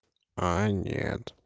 а нет